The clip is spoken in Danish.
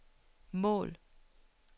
mål